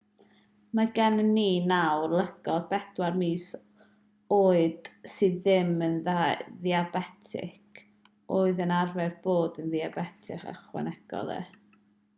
mae gennym ni nawr lygod pedwar mis oed sydd ddim yn ddiabetig oedd yn arfer bod yn ddiabetig ychwanegodd e